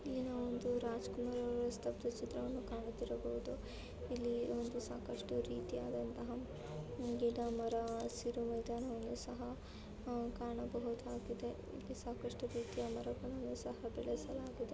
ಇಲ್ಲಿ ನಾವು ಒಂದು ರಾಜಕುಮಾರ್ ಅವರ ಸ್ತಬ್ದ ಚಿತ್ರವಣ್ಣ ಕಾಣುತ್ತಿರಬಹುದು. ಇಲ್ಲಿ ಒಂದು ಸಾಕಷ್ಟು ರೀತಿಯ ವದಂಥ ಗಿಡ ಮರ ಹಸಿರು ಮೈದಾನವನ್ನುಕಾಣಬಹುದಾಗಿದೆ ಇಲ್ಲಿ ಸಾಕಷ್ಟು ಸಹ ಬೆಳೆಸಿದ್ದಾರೆ.